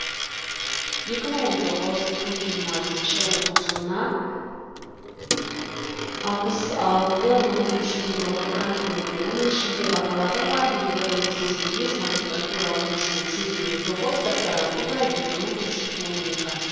екі мың он тоғыз екі мың жиырмасыншы оқу жылына алпсыс алты мың бес жүз елу алты грант бөлінді оның ішінде бакалаврға елу бір мың сексен бес магистратура он үш мың жүз елу тоғыз докторантура екі мың үш жүз он екі